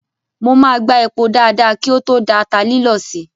Mo máa gbá epo dáadáa kí o tó da ata lílọ̀ sí i.